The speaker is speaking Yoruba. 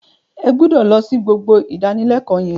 Ẹ gbúdọ̀ lọ sí gbogbo ìdánilẹ́kọ̀ọ́ yín.